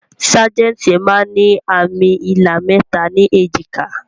Sajẹ́ntí máa ń ní àmì ilà mẹta ni èjìká